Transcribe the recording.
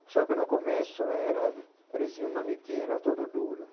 Só que no começo era parecia um manequim, era tudo duro.